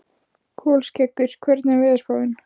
Kolskeggur, hvernig er veðurspáin?